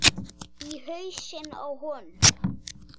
Í hausinn á honum.